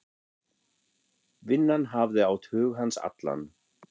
Vinnan hafði átt hug hans allan.